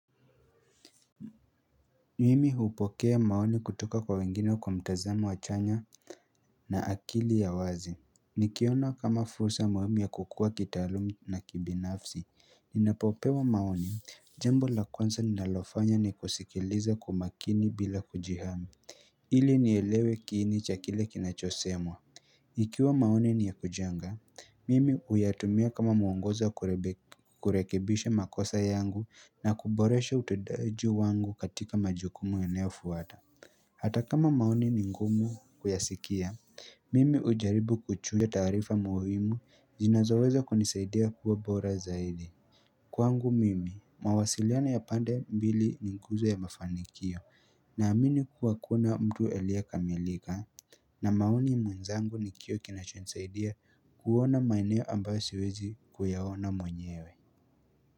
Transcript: Mimi hupokea maoni kutoka kwa wengine kwa mtazamo wa chanya na akili ya wazi Nikiona kama fursa muhimu ya kukua kitaalumi na kibinafsi ninapopewa maoni Jambo la kwanza ninalofanya nikusikilize kwa makini bila kujihami ili nielewe kiini cha kile kinachosemwa Ikiwa maoni ni ya kujenga, mimi huyatumia kama mwongozo kurekebisha makosa yangu na kuboresha utendaji wangu katika majukumu yanayofuata. Hata kama maoni ni ngumu kuyasikia, mimi hujaribu kuchukua tarifa muhimu zinazoweza kunisaidia kuwa bora zaidi. Kwangu mimi, mawasiliano ya pande mbili ni nguzo ya mafanikio na amini kuwa kuna mtu aliyekamilika. Na maoni mwenzangu ni kioo kinachonisaidia kuona maeneo ambayo siwezi kuyaona mwenyewe.